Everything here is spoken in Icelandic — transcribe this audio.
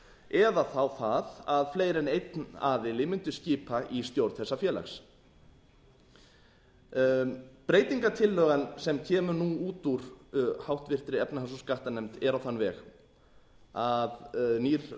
eða þá það að fleiri enn einn aðili mundu skipa í stjórn þessa félags breytingartillagan sem kemur nú út úr háttvirtrar efnahags og skattanefnd er á þann veg að nýr